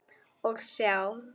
Og sjá!